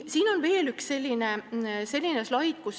Siin on veel üks slaid.